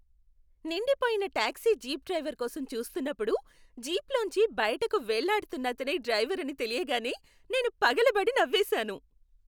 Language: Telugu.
నిండిపోయిన టాక్సీ జీప్ డ్రైవర్ కోసం చూస్తున్నప్పుడు, జీప్లోంచి బయటకు వేళ్ళాడుతున్నతనే డ్రైవర్ అని తెలియగానే నేను పగలబడి నవ్వేసాను.